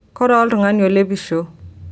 koree oltung'ani olepisho